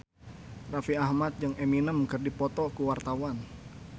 Raffi Ahmad jeung Eminem keur dipoto ku wartawan